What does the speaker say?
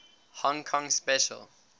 hong kong special